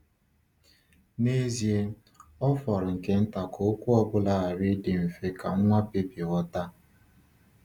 N’ezie, ọ fọrọ nke nta ka okwu ọ bụla ghara ịdị mfe ka nwa bebi ghọta!